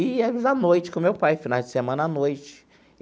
E íamos a noite com o meu pai, finais de semana à noite.